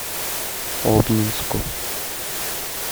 обнинску